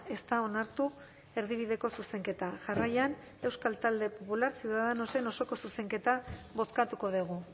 ez da onartu erdibideko zuzenketa jarraian euskal talde popular ciudadanosen osoko zuzenketa bozkatuko dugu